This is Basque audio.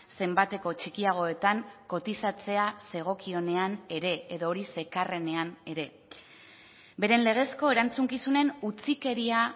zenbateko txikiagoetan kotizatzea zegokionean ere edo hori zekarrenean ere beren legezko erantzukizunen utzikeria